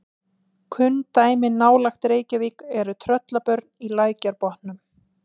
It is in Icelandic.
Kunn dæmi nálægt Reykjavík eru Tröllabörn í Lækjarbotnum.